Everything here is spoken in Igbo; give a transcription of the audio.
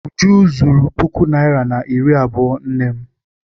Uju zuru puku naịra na iri abụọ nne m.